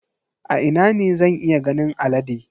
A ina ne zan iya ganin alade?